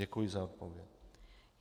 Děkuji za odpověď.